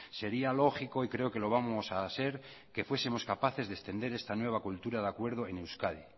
sería lógico y creo que lo vamos a ser que fuesemos capaces de extender esta nueva cultura de acuerdo en euskadi